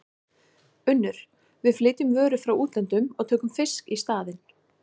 UNNUR: Við flytjum vörur frá útlöndum og tökum fisk í staðinn.